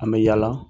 An bɛ yaala